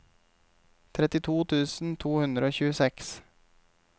trettito tusen to hundre og tjueseks